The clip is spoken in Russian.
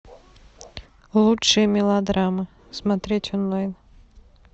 лучшие мелодрамы смотреть онлайн